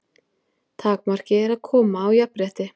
Takmarkið er að koma á jafnrétti.